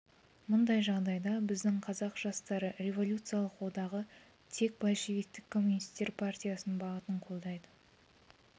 мұндай жағдайда біздің қазақ жастары революциялық одағы тек большевиктік коммунистер партиясының бағытын қолдайды